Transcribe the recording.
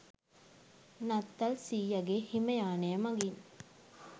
නත්තල් සීයගෙ හිම යානය මගින්